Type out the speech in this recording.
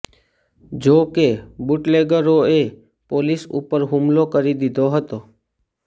જો કે બુટલેગરોએ પોલીસ ઉપર હુકલો કરી દીધો હતો